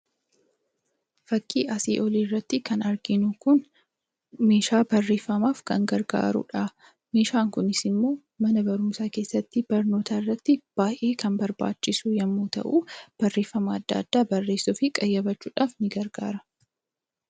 Suuraa kanaa gadii irraa kan mul'atu kun meeshaa barreeffamaaf gargaaru yoo ta'u innis iskiriiptoo dha. Kunis mana barumsaa fi bakka addaa addaatti ittiin barreeffama barreessuuf kan ooluu dha.